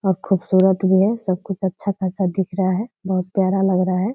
और खुबसूरत भी है। सब कुछ अच्छा खासा दिख रहा है बहुत प्यारा लग रहा हैं।